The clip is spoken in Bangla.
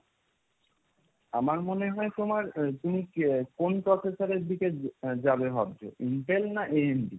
আমার মনে হয় তোমার আহ তুমি কি কোন processor এর দিকে আহ যাবে ভাবছো intel না, AMD